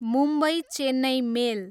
Mumbai Chennai मेल